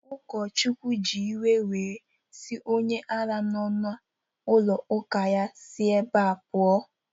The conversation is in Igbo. Ụkọchukwu ji iwe were sị onye ara nọ n'ụlọ ụka ya si ebea pụọ!